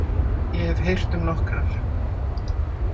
Ég hef heyrt um nokkrar.